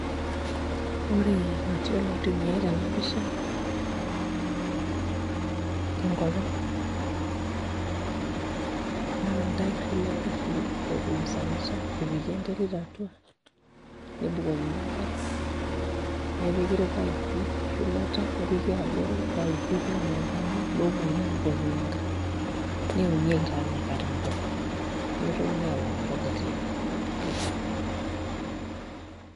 Ore materials naitumiai tena pisha tenkop ang' naa iltairri le ngarri ootumusanita epiki enterit atua nebukokini enkare nepiki irpaipi shumata nepiki abori ipaipi lomookini aabukokinyie enkare neunieki taa inakata mbuka nemitokini aakau mpuka tiang'.